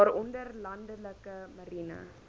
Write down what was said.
waaronder landelike marine